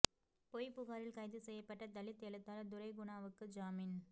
பொய் புகாரில் கைது செய்யப்பட்ட தலித் எழுத்தாளர் துரை குணாவுக்கு ஜாமீன்